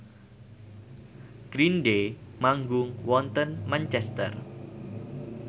Green Day manggung wonten Manchester